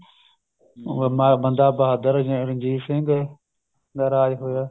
ਹੁਣ ਅਹ ਬੰਦਾ ਬਹਾਦਰ ਮਹਾਰਾਜਾ ਰਣਜੀਤ ਸਿੰਘ ਦਾ ਰਾਜ ਹੋਇਆ